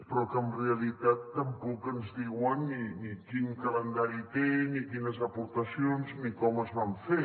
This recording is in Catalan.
però que en realitat tampoc ens diuen ni quin calendari té ni quines aportacions ni com es va fer